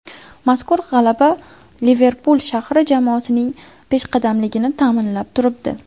Mazkur g‘alaba Liverpul shahri jamoasining peshqadamligini ta’minlab turibdi.